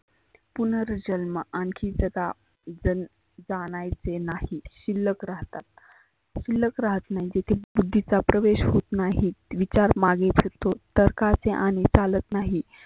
पुनर जन्म आनखी जगा जानायचे नाही शिल्लक राहतात. शिल्लक राहत नाही तिथे बुद्धीचा प्रवेश होत नाही. विचार मागे सरतो तर्काचे आने चालत नाही.